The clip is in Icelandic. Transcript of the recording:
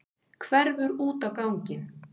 Hverfur út á ganginn.